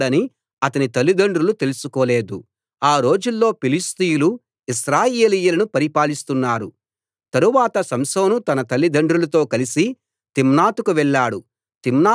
అయితే ఫిలిష్తీయులకు కీడు చేయడానికి యెహోవాయే అతణ్ణి పురిగొల్పుతున్నాడని అతని తల్లిదండ్రులు తెలుసుకోలేదు ఆ రోజుల్లో ఫిలిష్తీయులు ఇశ్రాయేలీయులను పరిపాలిస్తున్నారు